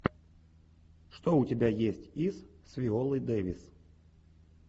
что у тебя есть из с виолой дэвис